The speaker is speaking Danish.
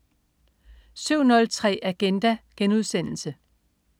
07.03 Agenda*